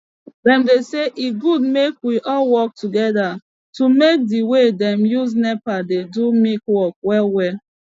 dem dey say e good make we all work togeda to make d way dem use nepa dey do milk work well well